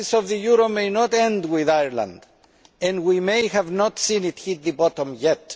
crisis of the euro may not end with Ireland and we may have not seen the worst yet.